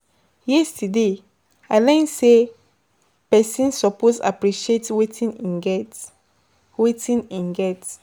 Yesterday, I learn sey pesin suppose appreciate wetin en wetin en get.